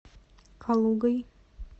калугой